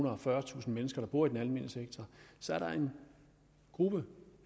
og fyrretusind mennesker der bor i den almene sektor er der en gruppe